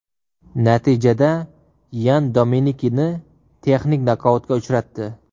Natijada Yan Dominikini texnik nokautga uchratdi.